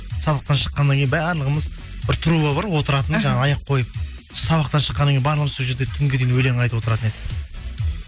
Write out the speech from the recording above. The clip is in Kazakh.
сабақтан шыққаннан кейін барлығымыз бір труба бар отыратын жаңағы аяқ қойып сабақтан шыққаннан кейін барлығымыз сол жерде түнге дейін өлең айтып отыратын едік